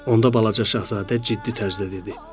Onda balaca şahzadə ciddi tərzdə dedi.